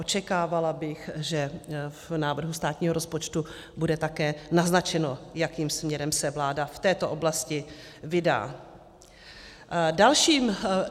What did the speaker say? Očekávala bych, že v návrhu státního rozpočtu bude také naznačeno, jakým směrem se vláda v této oblasti vydá.